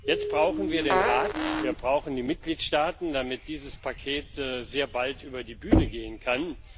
Jetzt brauchen wir den Rat, wir brauchen die Mitgliedstaaten, damit dieses Paket sehr bald über die Bühne gehen kann.